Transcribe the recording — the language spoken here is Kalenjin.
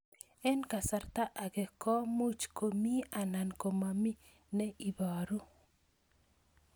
Eng' kasarta ag'e ko much ko mii anan komamii ne ibaru